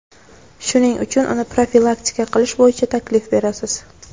Shuning uchun uni profilaktika qilish bo‘yicha taklif berasiz.